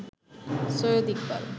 Syed Iqbal